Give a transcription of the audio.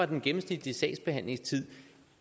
den gennemsnitlige sagsbehandlingstid